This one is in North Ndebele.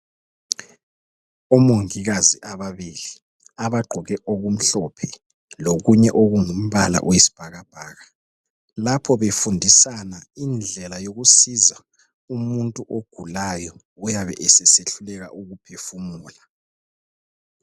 Omongikazi ababili abagqoke okumhlophe lokunye okungumbala wesibhakabhaka lapho befundisana indlela yokusiza umuntu ogulayo oyabe esesehluleka ukuphefumula